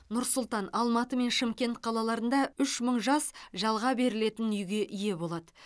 нұр сұлтан алматы мен шымкент қалаларында үш мың жас жалға берілетін үйге ие болады